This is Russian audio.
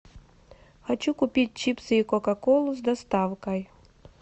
хочу купить чипсы и кока колу с доставкой